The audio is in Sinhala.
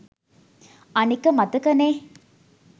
අනික මතකනේ